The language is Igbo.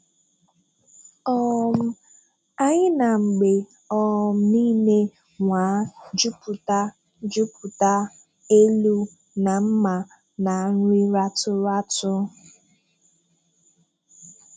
um “Anyị na-mgbe um niile nwàà jupụta jupụta elu na mmà na nri rátù rátù.